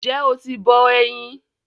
N jẹ́ oti bọ eyin?